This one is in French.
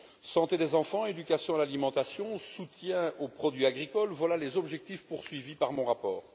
Santé des enfants, éducation à l'alimentation, soutien aux produits agricoles, voilà les objectifs poursuivis par mon rapport.